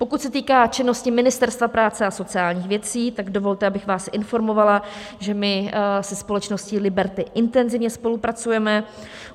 Pokud se týká činnosti Ministerstva práce a sociálních věcí, tak dovolte, abych vás informovala, že my se společností Liberty intenzivně spolupracujeme.